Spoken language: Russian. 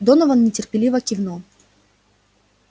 донован нетерпеливо кивнул